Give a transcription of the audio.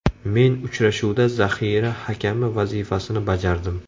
Men uchrashuvda zaxira hakami vazifasini bajardim.